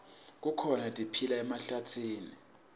kukhona letiphila emhlabatsini